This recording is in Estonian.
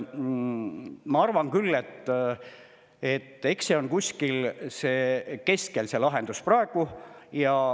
Ma arvan küll, et see lahendus on kuskil keskel.